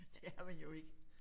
Det er man jo ikke